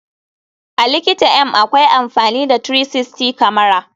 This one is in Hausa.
A likita m akwai amfani da 360 kamara.